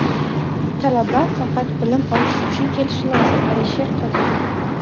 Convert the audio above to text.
Talaba faqat bilim olish uchun kelishi lozim — Alisher Qodirov.